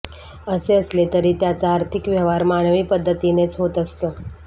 असे असले तरी त्याचा आर्थिक व्यवहार मानवी पद्धतीनेच होत असतो